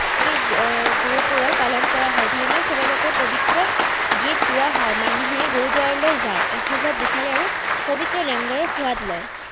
শিখ গুৰু পৰব পালন কৰা হয়। ধৰ্মীয় শোভাযাত্ৰাত পৱিত্ৰ গীত গোৱা হয়। মানুহে গুৰুদ্বাৰলৈ যায়, আশীৰ্বাদ বিচাৰে আৰু পৱিত্ৰ লংগাৰৰ সোৱাদ লয়।